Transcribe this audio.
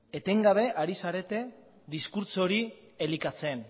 etengabe ari zarete diskurtso hori elikatzen